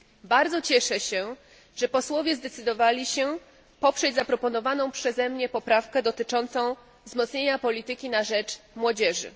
Bardzo cieszę się, że posłowie zdecydowali się poprzeć zaproponowaną przeze mnie poprawkę dotyczącą wzmocnienia polityki na rzecz młodzieży.